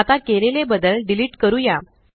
आता केलेले बदल डिलीट करूया